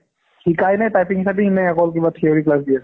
শিকায় নে typing স্য্পিনং নে অকল কিবা theory class দিয়ে ?